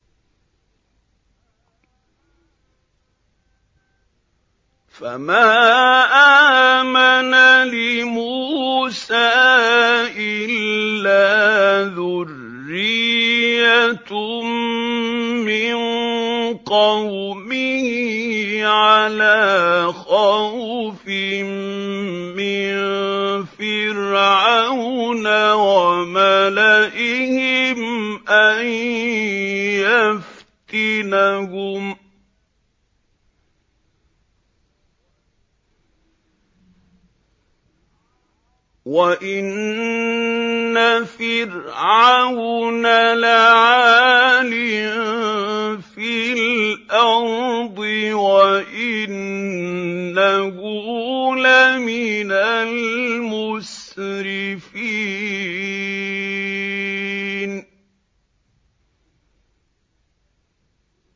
فَمَا آمَنَ لِمُوسَىٰ إِلَّا ذُرِّيَّةٌ مِّن قَوْمِهِ عَلَىٰ خَوْفٍ مِّن فِرْعَوْنَ وَمَلَئِهِمْ أَن يَفْتِنَهُمْ ۚ وَإِنَّ فِرْعَوْنَ لَعَالٍ فِي الْأَرْضِ وَإِنَّهُ لَمِنَ الْمُسْرِفِينَ